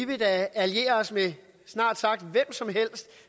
vil alliere os med snart sagt hvem som helst